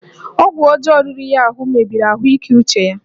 Ọgwụ ọjọọ riri ya ahụ mebiri ahụike uche ya